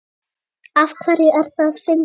Af hverju er það fyndið?